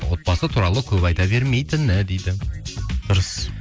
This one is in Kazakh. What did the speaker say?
отбасы туралы көп айта бермейтіні дейді дұрыс